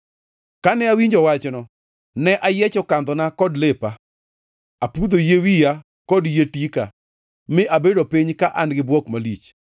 Kane awinjo wachno, ne ayiecho kandhona kod lepa, apudho yie wiya kod yie tika mi abedo piny ka an-gi bwok malich.